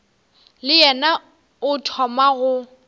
le yena o thoma go